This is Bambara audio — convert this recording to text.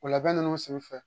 O labɛn ninnu senfɛ